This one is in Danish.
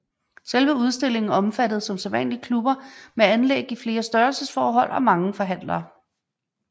Selve udstillingen omfattede som sædvanligt klubber med anlæg i flere størrelsesforhold og mange forhandlere